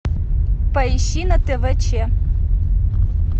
поищи на тв че